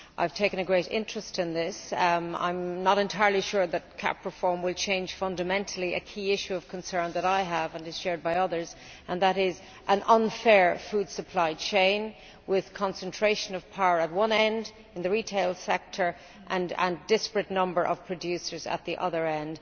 I have taken a great interest in this. I am not entirely sure that CAP reform will fundamentally change a key issue of concern that I have, and which is shared by others an unfair food supply chain with a concentration of power at one end, in the retail sector, and a disparate number of producers at the other end.